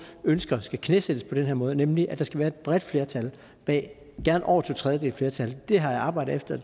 ønsker skal knæsættes på den her måde nemlig at der skal være et bredt flertal bag gerne over to tredjedeles flertal det har jeg arbejdet efter